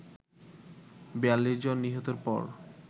৪২ জন নিহতের পর